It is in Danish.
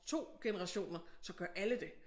2 generationer så gør alle det